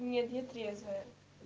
нет я трезвая